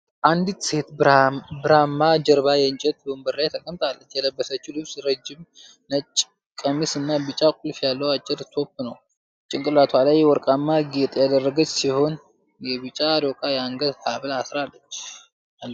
አንዲት ሴት ብርማ ጀርባ ላይ የእንጨት ወንበር ላይ ተቀምጣለች። የለበሰችው ልብስ ነጭ ረጅም ቀሚስ እና ቢጫ ጥልፍ ያለው አጭር ቶፕ ነው። ጭንቅላቷ ላይ ወርቃማ ጌጥ ያደረገች ሲሆን የቢጫ ዶቃ የአንገት ሀብል አላት።